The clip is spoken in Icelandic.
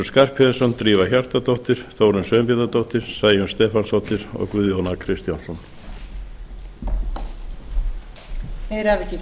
skarphéðinsson drífa hjartardóttir þórunn sveinbjarnardóttir sæunn stefánsdóttir og guðjón a kristjánsson